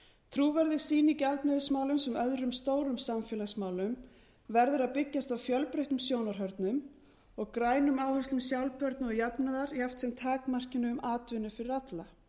trúverðug sýn í gjaldmiðilsmálum sem öðrum stórum samfélagsmálum verður að byggjast á fjölbreyttum sjónarhornum og grænum áherslum sjálfbærni og jafnaðar jafnt sem takmarkinu um atvinnu fyrir alla